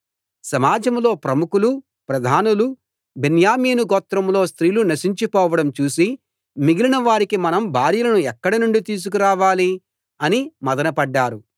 సమాజంలో ప్రముఖులు ప్రధానులు బెన్యామీను గోత్రంలో స్త్రీలు నశించి పోవడం చూసి మిగిలిన వారికి మనం భార్యలను ఎక్కడనుండి తీసుకు రావాలి అని మధన పడ్డారు